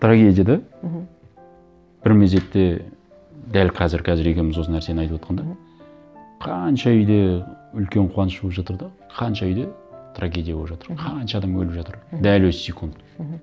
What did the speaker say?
трагедия да мхм бір мезетте дәл қазір қазір екеуіміз осы нәрсені айтып отырғанда мхм қанша үйде үлкен қуаныш болып жатыр да қанша үйде трагедия болып жатыр мхм қанша адам өліп жатыр мхм дәл осы секунд мхм